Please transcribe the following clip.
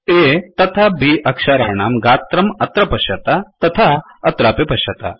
A तथा B अक्षराणां गात्रम् अत्र पश्यत तथा अत्रापि पश्यत